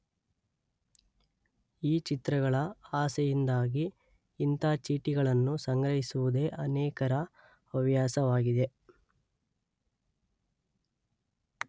ಈ ಚಿತ್ರಗಳ ಆಸೆಯಿಂದಾಗಿ ಇಂಥ ಚೀಟಿಗಳನ್ನು ಸಂಗ್ರಹಿಸುವುದೇ ಅನೇಕರ ಹವ್ಯಾಸವಾಗಿದೆ.